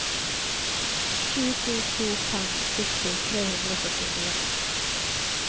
sju to to fem sytti tre hundre og førtifire